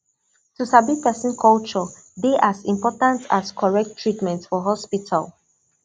to sabi person culture dey as important as correct treatment for hospital